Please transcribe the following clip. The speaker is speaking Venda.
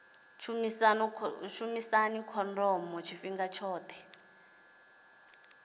u shumisa khondomo tshifhinga tshoṱhe